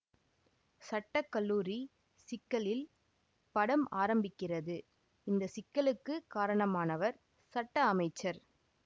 சட்ட கல்லூரி சிக்கலில் படம் ஆரம்பிக்கிறது இந்த சிக்கலுக்குக் காரணமானவர் சட்ட அமைச்சர்